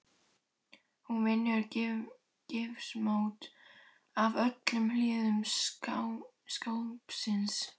Hún vinnur gifsmót af öllum hliðum skápsins.